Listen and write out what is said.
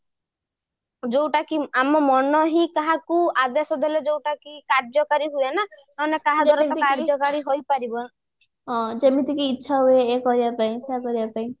ଯୋଉଟା କି ଆମ ମନ ହିଁ କାହାକୁ ଆଦେଶ ଦେଲେ ଯୋଉଟା କି କାର୍ଯ୍ୟକାରୀ ହୁଏ ଯେମିତିକି ଇଛା ହୁଏ ଯେ କରିବା ପାଇଁ ସେ କରିବା ପାଇଁ